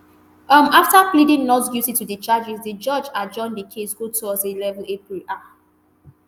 um afta pleading not guilty to di charges di judge adjourn di case go thursday eleven april um